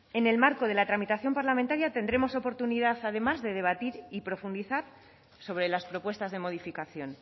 en el marco de la tramitación parlamentaria tendremos oportunidad además de debatir y profundizar sobre las propuestas de modificación